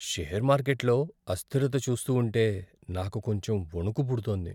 Share మార్కెట్లో అస్థిరత చూస్తూ ఉంటే నాకు కొంచెం వణుకు పుడుతోంది.